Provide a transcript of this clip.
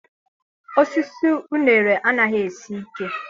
Osisi uṅere anaghị esi ike.